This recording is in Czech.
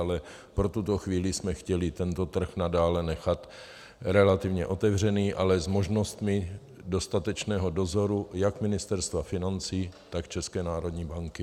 Ale pro tuto chvíli jsme chtěli tento trh nadále nechat relativně otevřený, ale s možnostmi dostatečného dozoru jak Ministerstva financí, tak České národní banky.